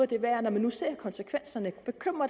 det værd når man nu ser konsekvenserne bekymrer